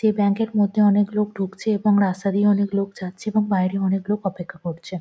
সেই ব্যাঙ্ক এর মধ্যে অনেক লোক ঢুকছে এবং রাস্তা দিয়ে অনেক লোক যাচ্ছে এবং বাইরে অনেক লোক অপেক্ষা করছে।